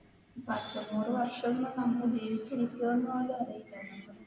പത്തു നൂറു വര്ഷം ഒന്നും നമ്മൾ ജീവിച്ചിരിക്കോ എന്ന് പോലും അറിയില്ല.